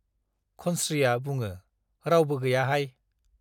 खन्त्रीया बुङो , रावबो गैयाहाय ।